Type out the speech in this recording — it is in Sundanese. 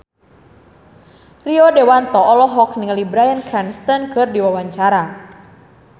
Rio Dewanto olohok ningali Bryan Cranston keur diwawancara